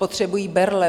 Potřebují berle.